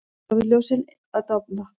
Norðurljósin að dofna